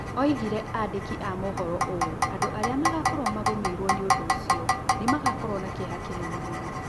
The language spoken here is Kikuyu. Oigire andĩki amovoro ũũ: "Andũ arĩa magaakorũo magũmĩirũo nĩ ũndũ ũcio nĩ magaakorũo na kĩeha kĩnene mũno".